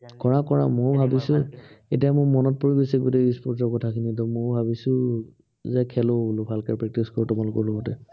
কৰা কৰা, মইও ভাবিছো এতিয়া মোৰ মনত পৰি গৈছে, গোটেই e-sports ৰ কথাখিনি। এতিয়া মইও ভাবিছো যে খেলো বোলো, ভালকে practice কৰো, তোমালোকৰ লগতে।